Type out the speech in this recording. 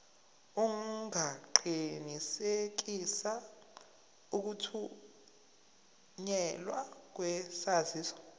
ungaqinisekisa ukuthunyelwa kwesaziso